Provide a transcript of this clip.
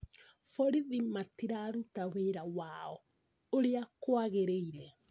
Borithi matiraruta wĩra wao ũrĩa kwagĩrĩire